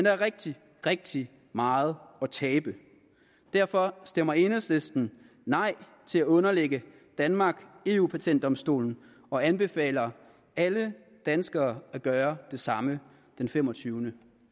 er rigtig rigtig meget at tabe derfor stemmer enhedslisten nej til at underlægge danmark eu patentdomstolen og anbefaler alle danskere at gøre det samme den femogtyvende